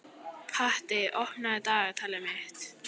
Patti, opnaðu dagatalið mitt.